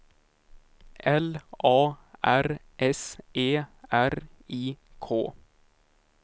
L A R S E R I K